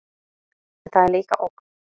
En það er líka ógn.